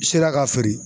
Sera ka feere